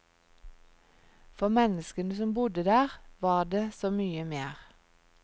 For menneskene som bodde der, var det så mye mer.